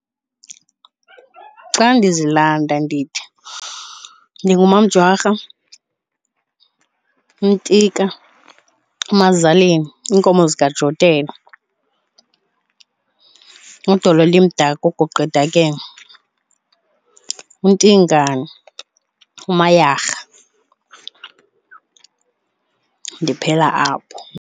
Xa ndizilanda ndithi ndinguMaMjwara, uMtika, uMazaleni iinkomo zikaJotela, uDolo elimdaka, uGuqa edakeni, uNtingane, uMayarha. Ndiphela apho.